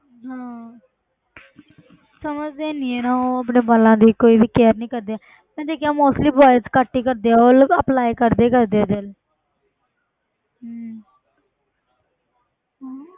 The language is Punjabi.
ਹਾਂ ਸਮਝਦੇ ਨੀ ਹੈ ਯਾਰ ਉਹ ਆਪਣੇ ਵਾਲਾਂ ਦੀ ਕੋਈ ਵੀ care ਨੀ ਕਰਦੇ ਮੈਂ ਦੇਖਿਆ mostly boys ਘੱਟ ਹੀ ਕਰਦੇ ਆ ਉਹ ਲੋਕ apply ਕਰਦੇ ਹੀ ਕਰਦੇ ਆ gel ਹਮ ਹਾਂ